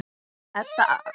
Edda aftók það með öllu.